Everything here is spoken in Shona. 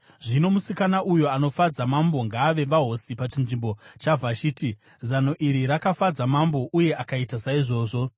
Zvino musikana uyo anofadza mambo ngaave vahosi pachinzvimbo chaVhashiti.” Zano iri rakafadza mambo, uye akaita saizvozvo.